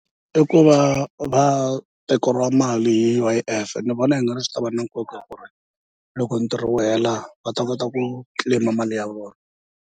I ku va va tekeriwa mali hi U_I_F ni vona i nga ri swi ta va na nkoka ku ri loko ntirho wu hela va ta kota ku claim mali ya vona.